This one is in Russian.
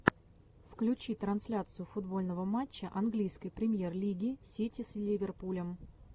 включи трансляцию футбольного матча английской премьер лиги сити с ливерпулем